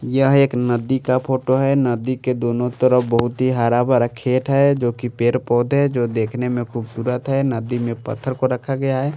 यह एक नदी का फोटो है नदी के दोनों तरफ बहुत ही हरा भरा खेत है जो कि पेड़ पौधे जो देखने में खूबसूरत है नदी में पत्थर को रखा गया है।